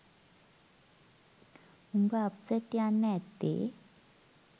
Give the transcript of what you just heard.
උඹ අප්සට් යන්න ඇත්තේ